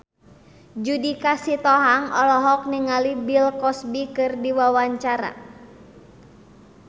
Judika Sitohang olohok ningali Bill Cosby keur diwawancara